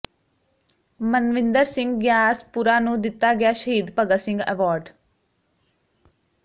ਮਨਵਿੰਦਰ ਸਿੰਘ ਗਿਆਸਪੁਰਾ ਨੂੰ ਦਿੱਤਾ ਗਿਆ ਸ਼ਹੀਦ ਭਗਤ ਸਿੰਘ ਐਵਾਰਡ